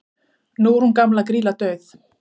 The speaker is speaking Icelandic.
nú er hún gamla grýla dauð